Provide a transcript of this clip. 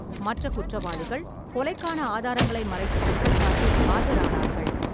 மற்ற குற்றவாளிகள் கொலைக்கான ஆதாரங்களை மறைத்த குற்றச்சாட்டில் ஆஜரானார்கள்.